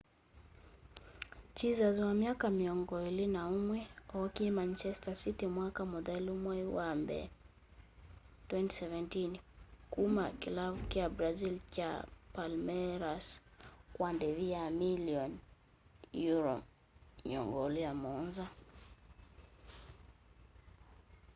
jesus wa myaka mĩongo ĩlĩ na ũmwe ookie manchester city mwaka mũthelu mwai wa mbee 2017 kuma kĩlavu kya brazil kya palmeiras kwa ndĩvi ya milioni £27